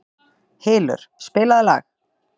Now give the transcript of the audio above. Hylur, spilaðu lag.